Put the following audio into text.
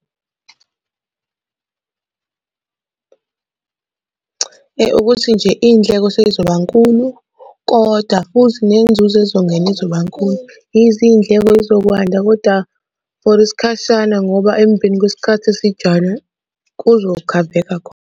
Ukuthi nje iy'ndleko sey'zoba nkulu, koda futhi nenzuzo ezongena izoba nkulu. Izo iy'ndleko y'zokwanda kodwa for isikhashana ngoba emveni kwesikhathi esijana kuzokhaveka khona.